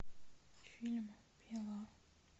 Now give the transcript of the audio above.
фильм пила